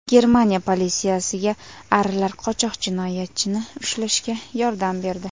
Germaniya politsiyasiga arilar qochoq jinoyatchini ushlashga yordam berdi.